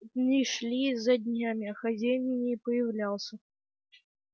дни шли за днями а хозяин не появлялся